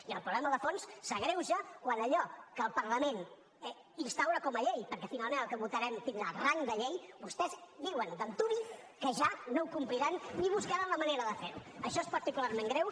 i el problema de fons s’agreuja quan allò que el parlament instaura com a llei perquè finalment el que votarem tindrà rang de llei vostès diuen d’antuvi que ja no ho compliran ni buscaran la manera de fer ho això és particularment greu